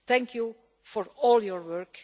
Thank you for all your work